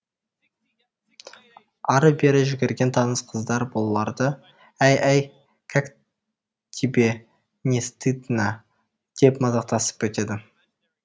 ары бері жүгірген таныс қыздар бұларды әй әй кәк тибе не стиднә деп мазақтасып өтеді